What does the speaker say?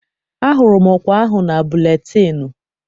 Ahụrụ m ọkwa ahụ na buletịịnụ.